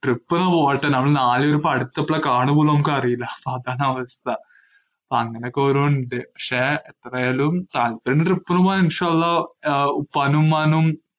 trip അങ്ങ് പോകട്ടെ, നമ്മള് നാല് പേരും ഇപ്പൊ അടുത്തെപ്പളാ കാണുപോലും നമ്മക്ക് അറിയില്ല, അതാണവസ്ഥ. അങ്ങനൊക്കെ ഓരോന്നുണ്ട്, ~ക്ഷേ എത്രയായാലും താല്പര്യണ്ട് trip ന് പോവാൻ ആഹ് ഉപ്പാനുമ്മാനും